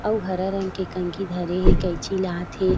आऊ हरा रंग के कंघी धरे हे कैंची लात हे।